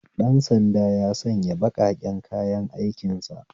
Dan sanda ya sanya baƙaƙen kayan aikin sa